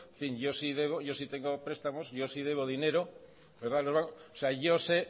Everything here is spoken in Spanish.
yo si debo yo si tengo prestamos yo sí debo dinero o sea yo sé